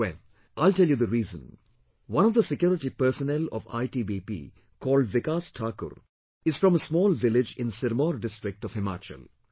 Well, I'll tell you the reason, one of the security personnel of ITBP called Vikas Thakur is from a small village in Sirmour district of Himachal